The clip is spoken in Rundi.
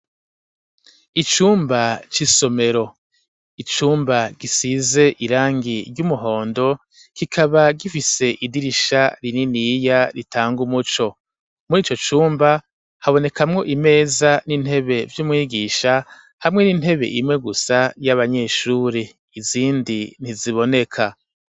Icumba c'isomero, icumba gisize irangi ry'umuhondo kikaba gifise idirisha rininiya ritanga umuco, muri ico cumba habonekamwo imeza n'intebe vy'umwigisha hamwe n'intebe imwe gusa y'abanyeshuri, izindi ntiziboneka.